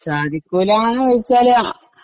സാധിക്കൂലാന്ന് വെച്ചാൽ